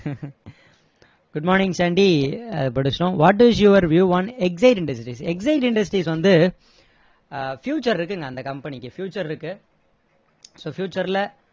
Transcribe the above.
good morning சண்டி படிச்சுட்டோம் what is your view on exide industry exide industries வந்து ah future இருக்குங்க அந்த company க்கு future இருக்கு so future ல